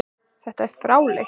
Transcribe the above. Þetta er fáheyrt.